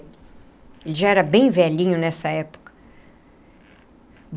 Ele já era bem velhinho nessa época.